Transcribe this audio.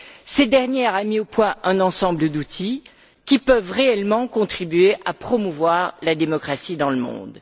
Cette dernière a mis au point un ensemble d'outils qui peuvent réellement contribuer à promouvoir la démocratie dans le monde.